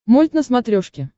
мульт на смотрешке